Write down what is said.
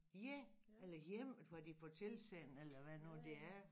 Ja eller hjemme hvor de får tilsendt eller havd nu det er